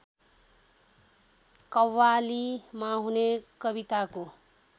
कव्वालीमा हुने कविताको